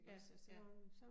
Ja, ja